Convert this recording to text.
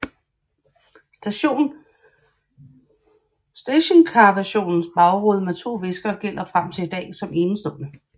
Stationcarversionens bagrude med to viskere gælder frem til i dag som enestående